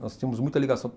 Nós tínhamos muita ligação.